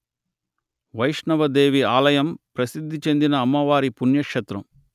వైష్ణవ దేవి ఆలయం ప్రసిద్ధి చెందిన అమ్మవారి పుణ్యక్షేత్రం